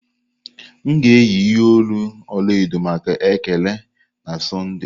M ga-eyi ihe olu ọla edo maka Ekele na Sọnde.